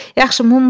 Yaxşı, mumla.